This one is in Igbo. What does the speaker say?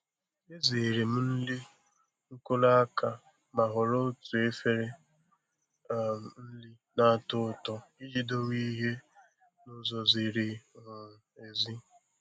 Ezere m nri nkuru aka ma họrọ otu efere um nri na-atọ ụtọ iji dowe ihe n'ụzọ ziri um ezi.